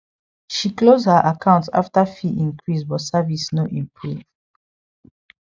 she close her account after fee increase but service no improve